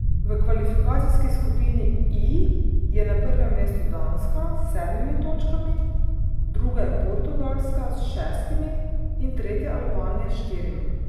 V Kvalifikacijski skupini I je na prvem mestu Danska s sedmimi točkami, druga je Portugalska s šestimi in tretja Albanija s štirimi.